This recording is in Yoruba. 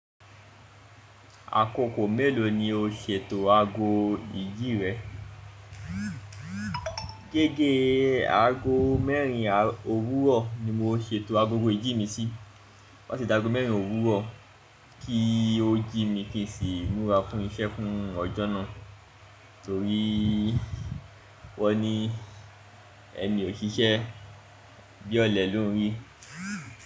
Akoko mélòó ni o ṣètò ago ìjì rẹ? Gẹ́gẹ́ ago mẹ́rin òwúrọ̀ ni mo ṣètò agogo ìjì mi sí. Wọ́n ṣe ìdágo mẹ́rin òwúrọ̀ kí ó jí mi kí èsì múra fún iṣẹ́ fún ọjọ́ náà torí wọ́n ní ẹ́ mi ò ṣiṣẹ́, bí ọ̀lẹ ló ń rí.